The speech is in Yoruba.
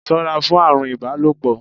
Ṣọ́ra fún àrùn ibalopo!